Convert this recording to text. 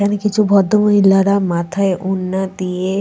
এখানে কিছু ভদ্রমহিলারা মাথায় ওড়না দিয়ে--